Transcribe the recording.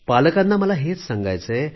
पालकांना मला हेच सांगायचे आहे